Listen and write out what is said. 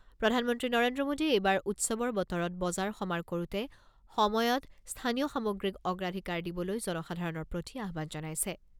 প্ৰধানমন্ত্ৰী নৰেন্দ্ৰ মোদীয়ে এইবাৰ উৎসৱৰ বতৰত বজাৰ সমাৰ কৰোতে সময়ত স্থানীয় সামগ্ৰীক অগ্ৰাধিকাৰ দিবলৈ জনসাধাৰণৰ প্ৰতি আহ্বান জনাইছে।